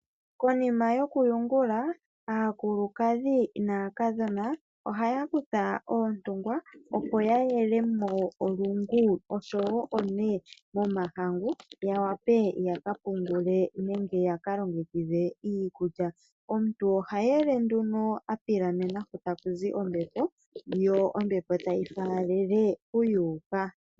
Konima yokuyungula aakulukadhi naakadhona ohaya kutha oontungwa, opo ya yelemo olungu osho wo one momahangu ya wape ya ka pungule nenge ya ka longekidhe iikulya. Omuntu oha yele nduno a pilamena hu ta ku zi ombepo, yo ombepo tayi faalele hu ya uka.